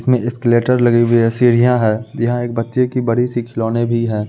इसमें एस्कलेटर लगी हुई है सीढिया है यहाँ एक बच्चे की बड़ी-सी खिलौने भी है।